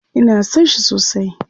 Ina son shi sosai.